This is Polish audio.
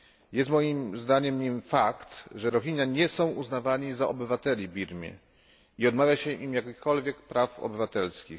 Jest moim zdaniem nim fakt, że Rohingya nie są uznawani za obywateli Birmy i odmawia się im jakichkolwiek praw obywatelskich.